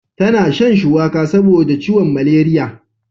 Ta na shan shuwaka saboda ciwon maleriya